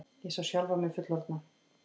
Ég sá sjálfa mig fullorðna.